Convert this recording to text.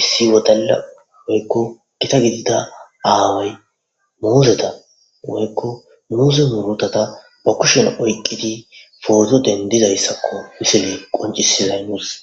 issi wodala woykko gita gidida aaway muuzeda woykko muuze murutata ba kushen oyqqidi poto dendizayssakko misili qoncisi nusi